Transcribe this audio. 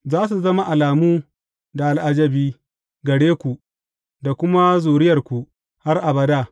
Za su zama alamu da al’ajabi gare ku da kuma zuriyarku har abada.